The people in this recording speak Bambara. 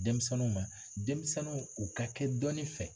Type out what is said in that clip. Denmisɛnninw ma denmisɛnninw u ka kɛ dɔnni fɛ